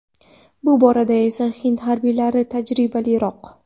Bu borada esa hind harbiylari tajribaliroq.